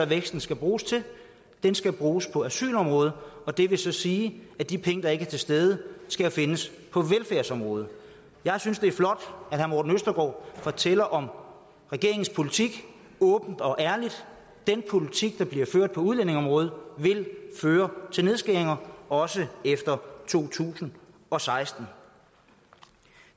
væksten skal bruges til den skal bruges på asylområdet og det vil så sige at de penge der ikke er til stede skal findes på velfærdsområdet jeg synes det er flot at fortæller om regeringens politik åbent og ærligt den politik der bliver ført på udlændingeområdet vil føre til nedskæringer også efter to tusind og seksten